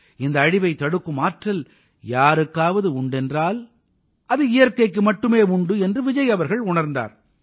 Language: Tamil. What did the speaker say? இந்த அழிவைத் தடுக்கும் ஆற்றல் யாருக்காவது உண்டென்றால் அது இயற்கைக்கு மட்டுமே உண்டு என்று விஜய் அவர்கள் உணர்ந்தார்